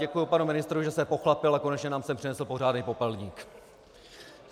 Děkuji panu ministrovi, že se pochlapil a konečně nám sem přinesl pořádný popelník.